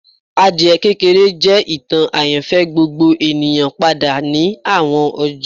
Adie kekere jẹ itan ayanfẹ gbogbo eniyan pada ni awọn ọjọ